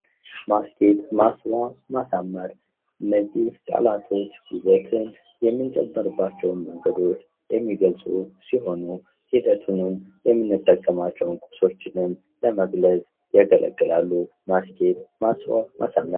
ማስጌጥ፣ ማስዋብ፣ ማሳመር እነዚህ ቃላቶች ዉበትን የምንጨምርባቸዉ መንገዶች የሚገልፁ ሲሆኑ ሂደቱንም የምንጠቀማቸዉንም ቁሶችንም ለመግለፅ ይጠቅማሉ። ማስጌጥ፣ ማስዋብ፣ ማሳመር!